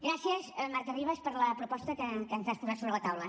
gràcies marta ribas per la proposta que ens has posat sobre la taula